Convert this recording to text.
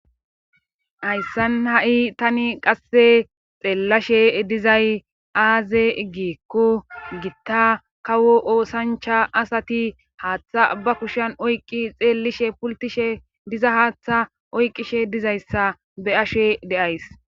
hayssan ha7i tani qasse xeellashe dizay aaze gikko gitta kawo oosancha asati haaththa ba kushan oyqqi xeellishe pultishe diza haaththa oyqqishe dizayssa be ashe de7ays